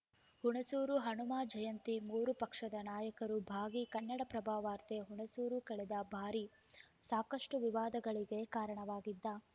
ಹುಣಸೂರು ಹನುಮ ಜಯಂತಿ ಮೂರೂ ಪಕ್ಷದ ನಾಯಕರು ಭಾಗಿ ಕನ್ನಡಪ್ರಭ ವಾರ್ತೆ ಹುಣಸೂರು ಕಳೆದ ಬಾರಿ ಸಾಕಷ್ಟುವಿವಾದಗಳಿಗೆ ಕಾರಣವಾಗಿದ್ದ